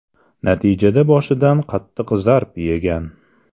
Natijada boshidan qattiq zarb yegan.